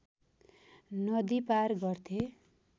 नदी पार गर्थे